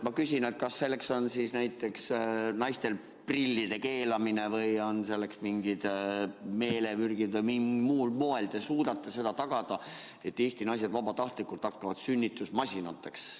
Ma küsin, kas selleks on siis näiteks naistel pillide keelamine või on selleks mingid meelemürgid või mis muul moel te suudate seda tagada, et Eesti naised vabatahtlikult hakkavad sünnitusmasinateks.